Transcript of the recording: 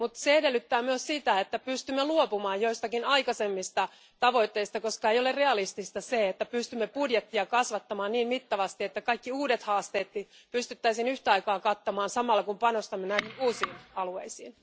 Se kuitenkin edellyttää myös sitä, että pystymme luopumaan joistakin aikaisemmista tavoitteista, koska ei ole realistista, että pystymme kasvattamaan budjettia niin mittavasti, että kaikki uudet haasteetkin pystyttäisiin yhtä aikaa kattamaan samalla kun panostamme näihin uusiin alueisiin.